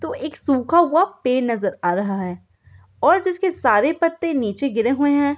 तो एक सुखा हुआ पेड़ नजर आ रहा है और जिसके सारे पत्ते निचे गिरे हुए हैं।